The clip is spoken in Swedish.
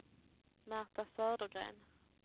Märta Södergren